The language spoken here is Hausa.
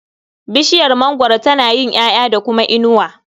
Bishiyar mangwaro tana yin ƴaƴa da kuma inuwa.